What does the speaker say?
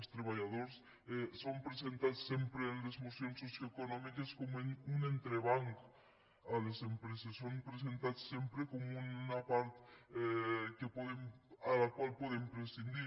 els treballadors són presentats sempre en les mocions socioeconòmiques com un entrebanc a les empreses són presentats sempre com una part de la qual podem prescindir